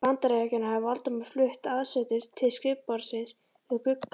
Bandaríkjanna, hafði Valdimar flutt aðsetur sitt til skrifborðsins við gluggann.